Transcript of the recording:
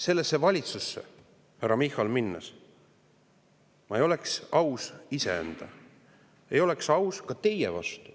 Sellesse valitsusse minnes, härra Michal, ma ei oleks aus iseenda vastu, ei oleks aus ka teie vastu,